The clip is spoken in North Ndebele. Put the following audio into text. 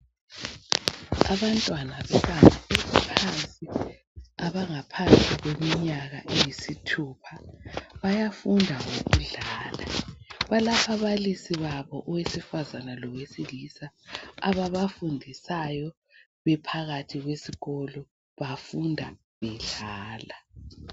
abantwana bebanga eliphansi abangaphasi kweminyaka eyisithupha bayafunda ngokudlala balababalisi babo owesifazana lowesilisa ababafundisayo bephakathi kwesikolo befunda bedlala